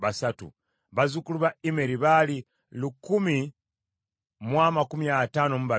bazzukulu ba Immeri baali lukumi mu amakumi ataano mu babiri (1,052),